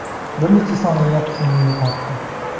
Bir necha soniyaga hushimni yo‘qotdim.